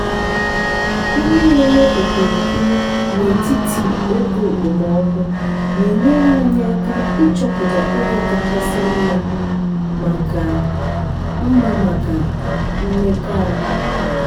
ihe na-eme okirikiri n’etiti oge okpomọkụ na-enyere anyị aka ịchọpụta oge kachasị mma maka mma maka imekọahụ.